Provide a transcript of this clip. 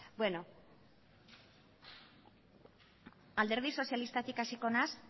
alderdi sozialistatik hasiko naiz